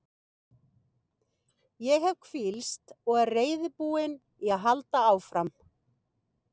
Ég hef hvílst og er reiðubúinn í að halda áfram.